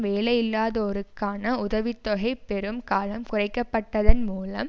வேலையில்லாதோருக்கான உதவி தொகை பெறும் காலம் குறைக்கப்பட்டதன் மூலம்